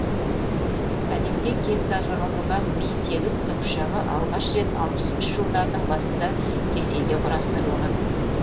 әлемде кең таралған ми сегіз тікұшағы алғаш рет алпысыншы жылдардың басында ресейде құрастырылған